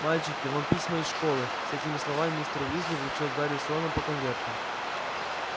мальчики вам письма из школы с этими словами мистер уизли вручил гарри с роном по конверту